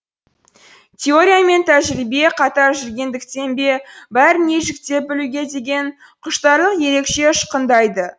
теория мен тәжірибе қатар жүргендіктен бе бәрін ежіктеп білуге деген құштарлық ерекше ұшқындайды